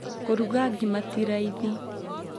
kũruga ngĩma tĩ raithĩ